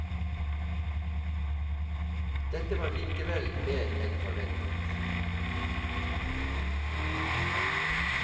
Dette var likevel mer enn forventet.